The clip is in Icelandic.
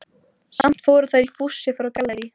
Samt fóru þær í fússi frá Gallerí